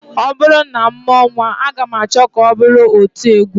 Ọ bụrụ na m mụọ nnwa, aga m achọ ka ọ bụrụ otiegwu